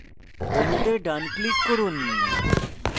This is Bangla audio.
অণুতে ডান click করুন